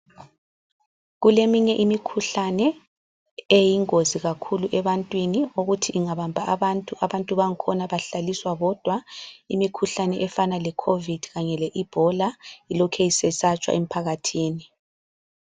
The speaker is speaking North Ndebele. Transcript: Kuleminye imikhuhlane eyingozi kakhulu ebantwini okuthi ingabamba abantu ,abantu bangkhona bahlaliswa bodwa. Imikhuhlane efana leCovid kanye le Ebola ilokhe isesatshwa emphakathini.